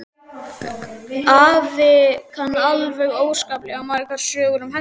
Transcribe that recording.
Afi kann alveg óskaplega margar sögur um hesta.